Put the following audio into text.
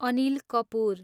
Anil Kapoor